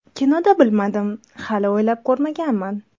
Kinoda bilmadim, hali o‘ylab ko‘rmaganman.